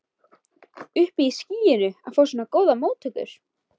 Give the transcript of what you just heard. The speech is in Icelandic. Uppi í skýjunum að fá svona góðar móttökur.